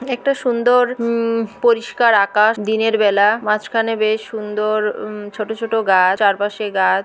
একটা সুন্দর উমম পরিষ্কার আকাশ। দিনের বেলা মাঝখানে বেশ সুন্দর উমম ছোট ছোট গাছ। চারপাশে গাছ।